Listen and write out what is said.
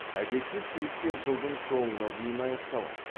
әдетте сессия жылдың соңына дейін аяқталады